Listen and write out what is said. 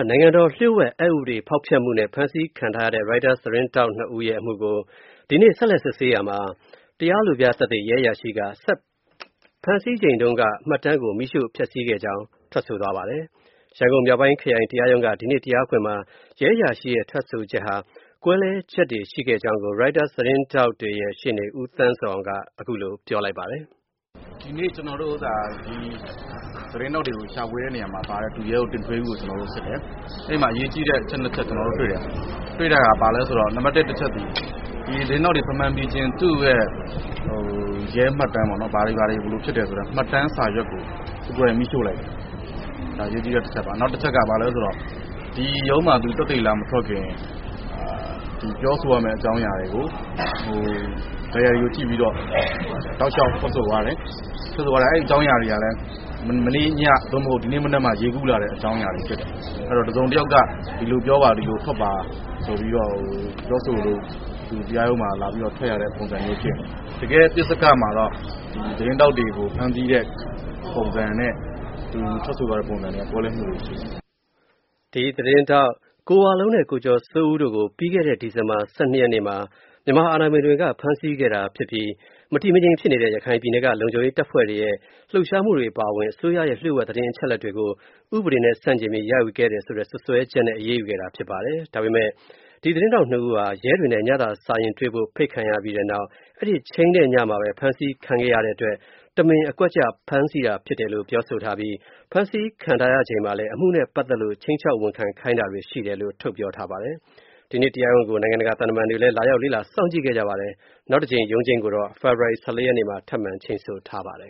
နိုင်ငံတော်လျှို့ဝှက် အက်ဥပဒေဖောက်ဖျက်မှုနဲ့ ဖမ်းဆီးခံထားရတဲ့ Reuters သတင်းထောက် ၂ ဦးရဲ့ အမှုနဲ့ ပတ်သက်လို့ ဒီကနေ့ ဆက်လက်စစ်ဆေးရာမှာ တရားလိုပြသက်သေ ရဲအရာရှိက ဖမ်းဆီးချိန်တုန်းက မှတ်တမ်းကို မီးရှို့ဖျက်ဆီးခဲ့ကြောင်း ထွက်ဆိုသွားပါတယ်။ ရန်ကုန်မြောက်ပိုင်းခရိုင် တရားရုံးက ဒီကနေ့ တရားခွင်မှာ ရဲအရာရှိရဲ့ ထွက်ဆိုချက်ဟာ ကွဲလွဲချက်တွေလည်း ရှိခဲ့ကြောင်း အကျိုးဆောင်ရှေ့နေ ဦးသန်းဇော်အောင် ကပြောပါတယ်။ "ဒီကနေ့ ကျနေ်ာတို့ သတင်းထောက်တွေကို ရှာဖွေတဲ့နေရာမှာ ပါတဲ့ ဒုရဲအုပ် တင်ထွေးဦးကို ကျနေ်ာတို့ စစ်တယ် အဲဒီမှာပါတဲ့ အရေးကြီးတဲ့ အချက် ၂ ချက် ကျနော်တို့တွေ့တယ်။ တွေ့တာက ဘာလဲဆိုတော့ ဒီသတင်းထောက်တွေကို ဖမ်းဖမ်းပြီးခြင်း သူ့ရဲ့ ရဲမှတ်တမ်း ပေါ့နော် ဘာတွေဘာတွေလုပ်တယ်ဆိုတဲ့ ရဲမှတ်တမ်းစာရွက်ကို သူကိုယ်တိုင်မီးရှို့လိုက်တယ်။ အဲဒါ အရေးကြီးတဲ့ တချက်ပါ။ နောက်တချက်ကတော့ ဘာလဲဆိုတော့ ဒီရုံးမှာ သက်သေ သူလာမထွက်ခင် ပြောဆိုရမယ့် အကြောင်းအရာတွေကို Diary ကို ကြည့်ပြီးတော့ ထွက်ဆိုသွားတယ်။ အဲဒီအကြောင်းအရာတွေကလည်း မနေ့ည သို့မဟုတ် ဒီနေ့မှ ရေးကူးလာတဲ့ အကြောင်းအရာတွေဖြစ်တယ်။ အဲဒီတော့ တစုံတယောက်က ဒီလိုပြောပါ ဒီလိုထွက်ပါ ဆိုပြီးတော့ ပြောဆိုလို့ သူတရားရုံးမှာ ဒီလိုထွက် ရတဲ့ ပုံစံဖြစ်နေတယ်။ တကယ်တော့ သတင်းထောက်တွေကို ဖမ်းဆီးတဲ့ ပုံစံနဲ့ သူထွက်ဆိုသွားတဲ့ ပုံစံနဲ့ ကွဲလွဲမှုတွေ ရှိနေတယ်။" Reuters သတင်းထောက် ၂ ဦးဖြစ်တဲ့ ကိုဝလုံးနဲ့ ကိုကျော်စိုးဦး တို့ကိုတော့ ပြီးခဲ့တဲလ ဒီဇင်ဘာ ၁၂ ရက်နေ့မှာပဲ မြန်မာအာဏာပိုင်တွေက ဖမ်းဆီးခဲ့တာဖြစ်ပြီး၊ မြန်မာနိုင်ငံက မတည်မငြိမ် အခြေအနေတွေ ကြုံနေရတဲ့ ရခိုင်ပြည်နယ်က လုံခြုံရေးတပ်ဖွဲ့တွေရဲ့ လှုပ်ရှားမှုတွေ အပါအဝင် အစိုးရရဲ့ လျို့ဝှက်သတင်းအချက်အလက်တွေကို ဥပဒေနဲ့ ဆန့်ကျင်ပြီး ရယူခဲ့တယ်ဆိုတဲ့ စွပ်စွဲချက်နဲ့ အာဏာပိုင်တွေက အရေးယူခဲ့တာ ဖြစ်ပါတယ်။ ဒါပေမဲ့လည်း သတင်းထောက် ၂ ဦးဟာ ရဲတာဝန်ရှိသူတွေနဲ့ ညစာစားရင်း တွေ့ဆုံဖို့ ဖိတ်ကြားခံရပြီးနောက် အဲဒီချိန်းဆိုထားတဲ့ညမှာပဲ ဖမ်းဆီးခံခဲ့ရတဲ့အတွက် တမင် အကွက်ချ ဖမ်းဆီးတာဖြစ်တယ်လို့ ပြောဆိုထားပြီး ဖမ်းဆီးခံထားရချိန်မှာလည်း အမှုနဲ့ပတ်သက်လို့ ခြိမ်းခြောက် ဝန်ခံခိုင်းတာတွေ ရှိတယ်လို့ ပြောဆိုထားပါတယ်။ ဒီကနေ့ တရားရုံးထုတ် စစ်ဆေးမှုတွေကို နိုင်ငံတကာက သံတမန်တွေလည်း လာရောက် လေ့လာ စောင့်ကြည့်ခဲ့ကြ ပါတယ်။ နောက်တကြိမ် ရုံးချိန်းကိုတော့ ဖေဖော်ဝါရီ ၁၄ ရက်နေ့မှာ ထပ်မံချိန်းဆိုထားပါတယ်